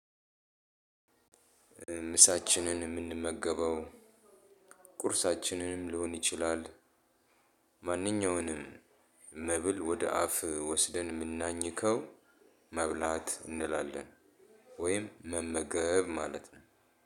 ምሳችንን የምንመገበው ቁርሳችንንም ሊሆን ይችላል። ማንኛውንም መብል ወደ አፍ ወስደን የምናኝከው መብላት እንላለን ወይም መመገብ ማለት ነው።